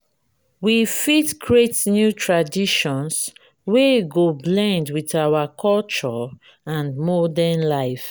we fit create new traditions wey go blend with our culture and modern life.